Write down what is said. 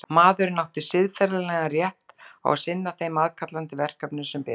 Maðurinn átti siðferðislegan rétt á að sinna þeim aðkallandi verkefnum sem biðu hans.